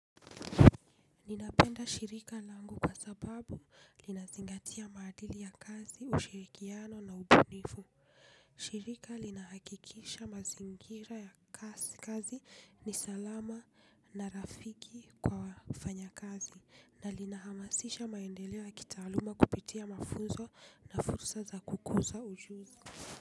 Ninapenda shirika langu kwa sababu linazingatia maadili ya kazi, ushirikiano na ubunifu. Shirika linahakikisha mazingira ya kazi ni salama na rafiki kwa wafanyakazi na linahamasisha maendeleo ya kitaaluma kupitia mafunzo na fursa za kukuza ujuzi.